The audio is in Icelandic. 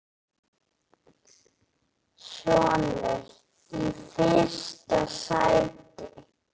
Sonur: Í fyrsta sæti.